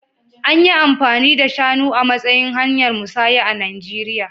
An yi amfani da shanu a matsayin hanyar musanya a Najeriya